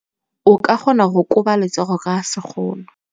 O ka kgona go koba letsogo ka sekgono.